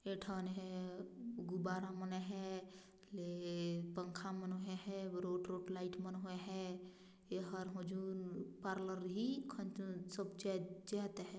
Eight न हे गुब्बारा मने है ले पंंखा मन होए है रुट रुट लाइट मन होए है ये हर होजून पार्लर हि खंंचन सब चे -- चेय ते है।